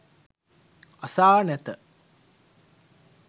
අසා නැත.